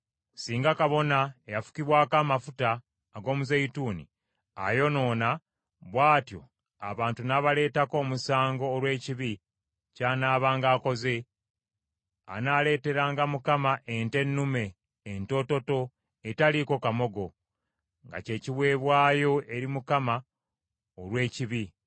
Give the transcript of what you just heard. “ ‘Singa Kabona eyafukibwako amafuta ag’omuzeeyituuni ayonoona, bw’atyo abantu n’abaleetako omusango olw’ekibi ky’anaabanga akoze, anaaleeteranga Mukama ente ennume entoototo etaliiko kamogo, nga kye kiweebwayo olw’ekibi.